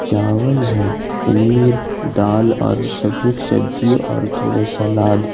चावल है पनीर दाल और सब मिक्स सब्जी और थोड़े सलाद--